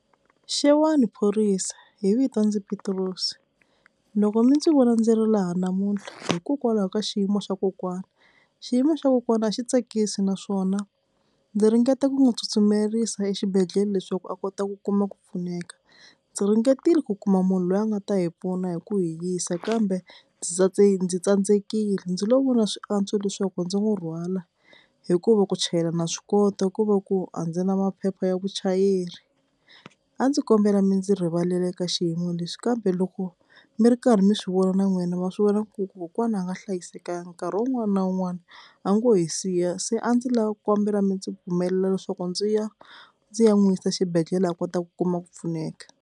Xewani phorisa hi vito ndzi Pitirosi loko mi ndzi vona ndzi ri laha namuntlha hikokwalaho ka xiyimo xa kokwana xiyimo xa kokwana a xi tsakisi naswona ndzi ringeta ku n'wi tsutsumerisa exibedhlele leswaku a kota ku kuma ku pfuneka, ndzi ringetile ku kuma munhu loyi a nga ta hi pfuna hi ku hi yisa kambe ndzi ndzi tsandzekile ndzi lo vona swi antswa leswaku ndzi n'wi rhwala hikuva ku chayela na swi kota ko va ku a ndzi na maphepha ya vuchayeri, a ndzi kombela mi ndzi rivalela eka xiyimo lexi kambe loko mi ri karhi mi swivona na n'wina ma swi vona ku kokwana a nga hlayiseka nkarhi wun'wana na wun'wana a ngo hi siya se a ndzi lava kombela mi ndzi pfumelela leswaku ndzi ya ndzi ya n'wi yisa xibedhlele a kota ku kuma ku pfuneka.